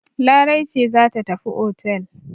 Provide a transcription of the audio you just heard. Larai ce za tafi otel.